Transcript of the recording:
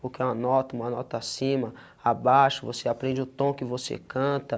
porque é uma nota, uma nota acima, abaixo você aprende o tom que você canta.